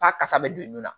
A kasa bɛ don i nɔ la